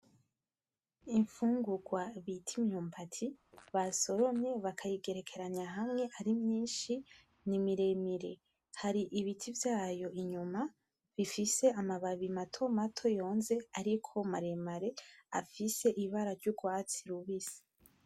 Imfungugwa bit'imyumbati, basoromye bakayigerekeranya hamwe ari myinshi, ni miremire. Hari ibiti vyayo inyuma bifise amababi matomato yonze ariko maremare afise ibara ry'ugwatsi rubisi.